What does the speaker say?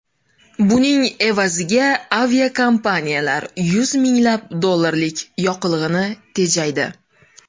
Buning evaziga aviakompaniyalar yuz minglab dollarlik yoqilg‘ini tejaydi.